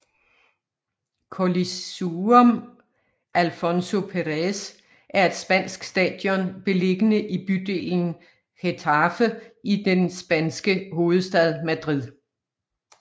Colisuem Alfonso Pérez er et spansk stadion beliggende i bydelen Getafe i den spanske hovedstad Madrid